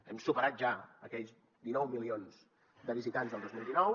hem superat ja aquells dinou milions de visitants del dos mil dinou